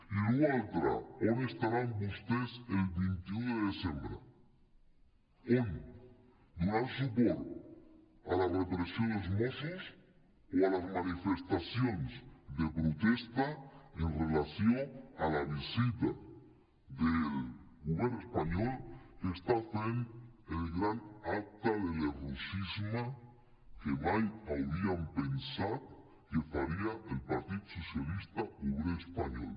i l’altre tema on estaran vostès el vint un de desembre on donant suport a la repressió dels mossos o a les manifestacions de protesta en relació amb la visita del govern espanyol que està fent el gran acte de lerrouxisme que mai hauríem pensat que faria el partit socialista obrer espanyol